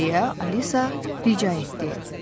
Deyə Alisa rica etdi.